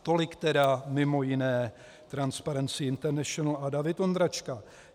Tolik tedy mimo jiné Transparency International a David Ondráčka.